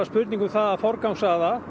spurning um að forgangsraða